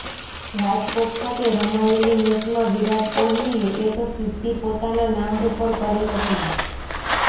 રાજકોટ ખાતે રમાયેલી મેચમાં વિરાટ કોહલીએ એક સિદ્ધિ પોતાના નામ ઉપર કરી હતી